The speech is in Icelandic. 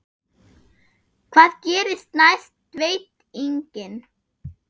Hvað gerist næst veit enginn.